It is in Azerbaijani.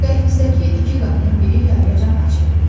Dəhlizdəki iki qapının biri yarıyacan açıq idi.